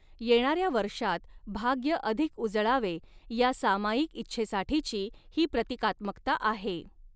येणाऱ्या वर्षात भाग्य अधिक उजळावे या सामायिक इच्छेसाठीची ही प्रतीकात्मकता आहे.